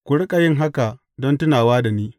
Ku riƙa yin haka don tunawa da ni.